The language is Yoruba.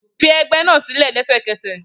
Fi ẹgbẹ́ náà sílẹ̀ lẹ́sẹ̀kẹsẹ̀